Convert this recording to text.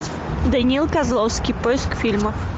даниил козловский поиск фильмов